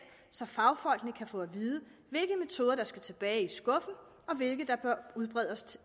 så fagfolkene kan få at vide hvilke metoder der skal tilbage i skuffen og hvilke der bør udbredes